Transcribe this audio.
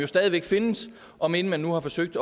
stadig væk findes om end man nu har forsøgt